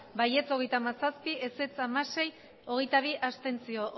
bai hogeita hamazazpi ez hamasei abstentzioak